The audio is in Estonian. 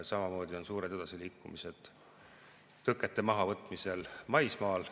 Samamoodi on suured edasiliikumised tõkete mahavõtmisel maismaal.